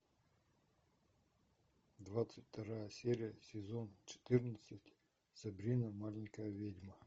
двадцать вторая серия сезон четырнадцать сабрина маленькая ведьма